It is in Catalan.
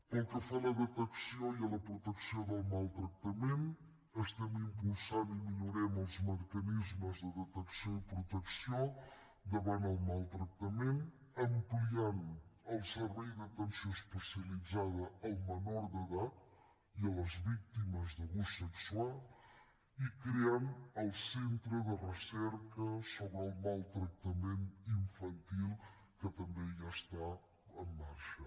pel que fa a la detecció i a la protecció del maltractament estem impulsant i millorem els mecanismes de detecció i protecció davant el maltractament ampliant el servei d’atenció especialitzada al menor d’edat i a les víctimes d’abús sexual i creant el centre de recerca sobre el maltractament infantil que també ja està en marxa